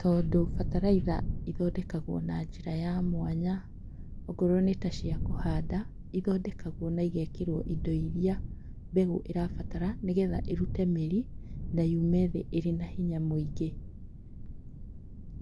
Tondũ bataraitha ĩthondekagwo na njĩra ya mwanya. Ongorwo nĩtaciakũhanda, ithondekagwo na igekĩrwo indo iria mbegũ ĩrabatara nĩgetha ĩrute mĩri na yume thĩ ĩrĩnahinya mũingĩ.